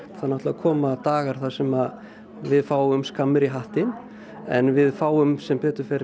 það náttúrulega koma dagar þar sem við fáum skammir í hattinn en við fáum sem betur fer